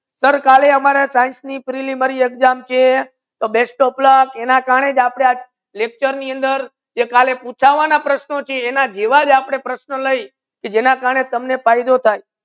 sir કાલે આમરે science ની preliminary exams છે તો best of luck એના કારણૅ આપને આ lecture ની અંદર કાલે પૂછવાના પ્રશ્નો છે એના જેવો આપડે પ્રશ્ના લાય જેના કારણૅ તમને ફયદો થાય